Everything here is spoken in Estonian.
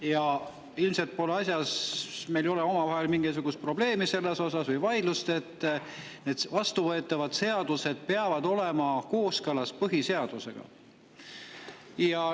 Ja ilmselt pole meil omavahel mingisugust vaidlust, et need vastuvõetavad seadused peavad olema kooskõlas põhiseadusega.